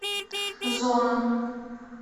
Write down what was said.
зона